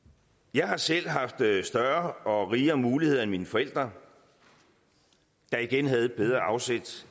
jeg har selv haft større og rigere muligheder end mine forældre der igen havde et bedre afsæt